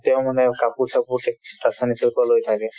তেওঁ মানে কাপোৰ-চাপোৰ চব ৰ পৰা লৈ থাকে